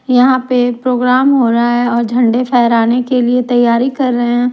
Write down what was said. यहां पे प्रोग्राम हो रहा है और झंडा फहराने के लिए तैयारी कर रहे हैं।